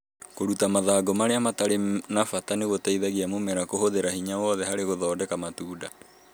Kũruta mathangũ marĩa matarĩ na bata nĩ gũteithagia mĩmera kũhũthira hinya wothe harĩ gũthondeka matunda